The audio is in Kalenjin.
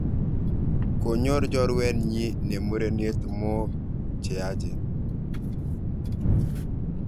Konyor chorwenyi ne murenet mook che yaachen